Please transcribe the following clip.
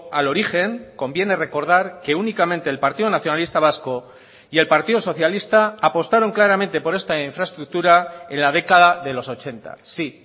al origen conviene recordar que únicamente el partido nacionalista vasco y el partido socialista apostaron claramente por esta infraestructura en la década de los ochenta sí